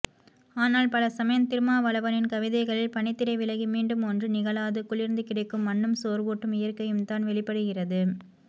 ஆனால் பலசமயம் திருமாவளவனின் கவிதைகளில் பனித்திரை விலகி மீண்டும் ஒன்றும் நிகழாது குளிர்ந்து கிடக்கும் மண்ணும் சோர்வூட்டும் இயற்கையும்தான் வெளிப்படுகிறது